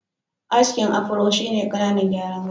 Askin Afro shi ne ƙananan gyaran gashi.